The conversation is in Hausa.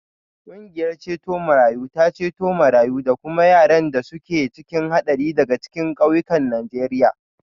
Ƙungiyar ceto marayu tana ceto marayu da kuma wanda yaran da suke cikin haɗari daga cikin ƙauyukan Najeriya.